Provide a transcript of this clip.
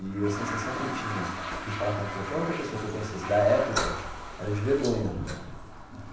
E a sensação que eu tinha de falar com qualquer outra pessoa que eu conhecesse da época, era de vergonha.